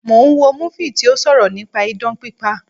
Mo ń wo múfì tí ó sọ̀rọ̀ nípa idán pípa